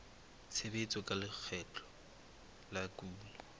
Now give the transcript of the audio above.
tshebetso tsa lekgetho la kuno